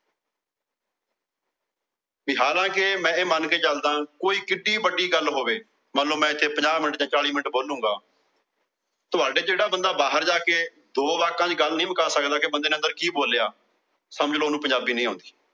ਕਿ ਹਾਲਾਂ ਕੇ ਮੈ ਇਹ ਮੰਨ ਕੇ ਚਲਦਾ ਕੋਈ ਵੀ ਵੱਡੀ ਗੱਲ ਹੋਵੇ। ਮੰਨ ਲੋ ਮੈ ਇੱਥੇ ਪੰਜਾਹ ਮਿੰਟ ਜਾਂ ਚਾਲੀ ਮਿੰਟ ਬੋਲੂੰਗਾ। ਤੁਹਾਡੇ ਚੋ ਜਿਹੜਾ ਬੰਦਾ ਬਾਹਰ ਜਾ ਕੇ ਦੋ ਵਾਕਾਂ ਚ ਗੱਲ ਨਹੀਂ ਮੁਕਾ ਸਕਿਆ ਵੀ ਅੰਦਰ ਕਿ ਬੋਲਿਆ। ਸਮਝ ਲੋ ਓਹਨੂੰ ਪੰਜਾਬੀ ਨਹੀਂ ਆਉਂਦੀ।